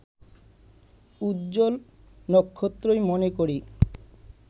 উজ্জ্বল নক্ষত্রই মনে করি